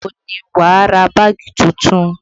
Ọjọ́ wo ni wà á ra báàgì tuntun?